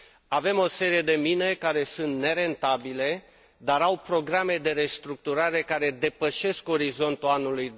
Avem o serie de mine care sunt nerentabile, dar au programe de restructurare care depășesc orizontul anului